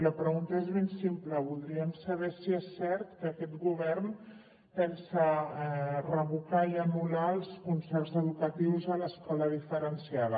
la pregunta és ben simple voldríem saber si és cert que aquest govern pensa revocar i anul·lar els concerts educatius a l’escola diferenciada